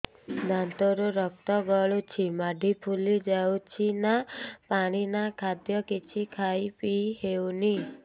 ଦାନ୍ତ ରୁ ରକ୍ତ ଗଳୁଛି ମାଢି ଫୁଲି ଯାଉଛି ନା ପାଣି ନା ଖାଦ୍ୟ କିଛି ଖାଇ ପିଇ ହେଉନି